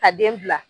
Ka den bila